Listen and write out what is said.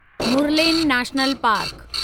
Murlen national park